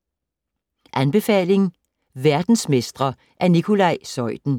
Anbefaling: Verdensmestre af Nicolaj Zeuthen